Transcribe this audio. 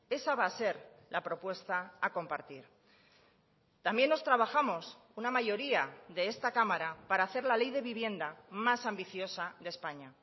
esa va a ser la propuesta a compartir también nos trabajamos una mayoría de esta cámara para hacer la ley de vivienda más ambiciosa de españa